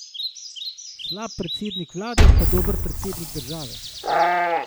Slab predsednik vlade pa dober predsednik države?